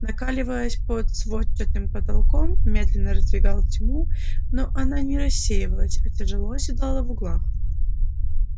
накаливаясь под сводчатым потолком медленно раздвигал тьму но она не рассеивалась а тяжело оседала в углах